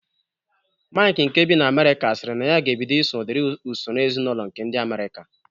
Maịk nke bi na Amerịka siri na ya ga-ebido iso udiri usoro ezinaụlọ nke ndị Amerịka